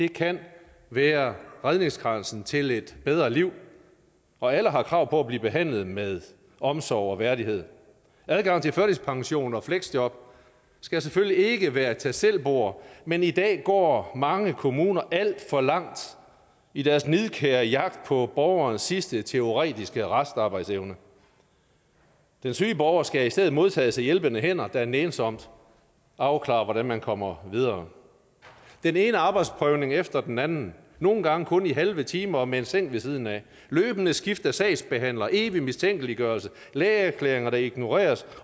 kan være redningskransen til et bedre liv og alle har krav på at blive behandlet med omsorg og værdighed adgangen til førtidspension og fleksjob skal selvfølgelig ikke være et tag selv bord men i dag går mange kommuner alt for langt i deres nidkære jagt på borgernes sidste teoretiske restarbejdsevne den syge borger skal i stedet modtages af hjælpende hænder der nænsomt afklarer hvordan man kommer videre den ene arbejdsprøvning efter den anden nogle gange kun i halve timer og med en seng ved siden af løbende skift af sagsbehandlere evig mistænkeliggørelse lægeerklæringer der ignoreres